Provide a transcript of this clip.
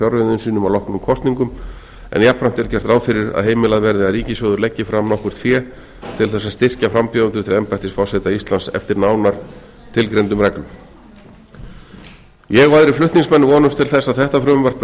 fjárreiðum sínum að loknum kosningum en jafnframt er gert ráð fyrir að heimilað verði að ríkissjóður leggi fram nokkurt fé til þess að styrkja frambjóðendur til embættis forseta íslands eftir nánar tilgreindum reglum ég og aðrir flutningsmenn vonumst til þess að þetta frumvarp verði